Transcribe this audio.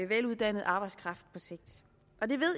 veluddannet arbejdskraft på sigt